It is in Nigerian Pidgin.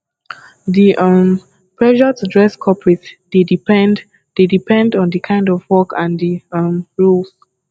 di um pressure to dress coperate dey depend dey depend on di kind of work and di um rules